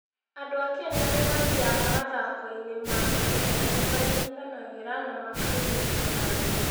Andũ a Kenya arĩa mathiaga mathako-inĩ ma mahenya nĩ manyitanagĩra na makaanyita mbaru.